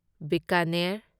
Bikaner